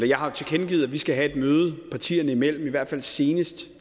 jeg har tilkendegivet at vi skal have et møde partierne imellem i hvert fald senest